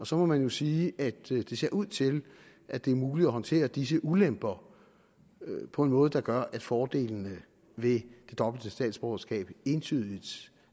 så må man jo sige at det ser ud til at det er muligt at håndtere disse ulemper på en måde der gør at fordelene ved det dobbelte statsborgerskab entydigt